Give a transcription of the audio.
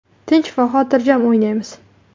Tinch va xotirjam o‘ynaymiz.